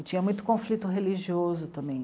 E tinha muito conflito religioso também.